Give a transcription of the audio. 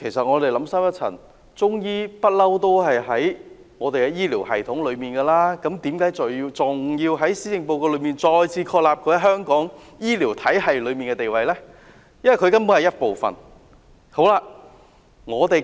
我們想深一層，其實"中醫藥"一向都在醫療系統中，為何還要在施政報告中再次確立它在香港醫療體系中的地位？